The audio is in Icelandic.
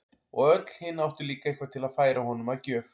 Og öll hin áttu líka eitthvað til að færa honum að gjöf.